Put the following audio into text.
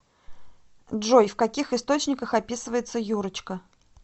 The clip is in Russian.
джой в каких источниках описывается юрочка